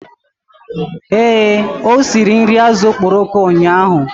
Ee, o siri nri azụ̀ okporoko ụnyahụ.